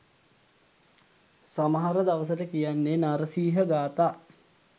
සමහර දවසට කියන්නේ නරසීහ ගාථා.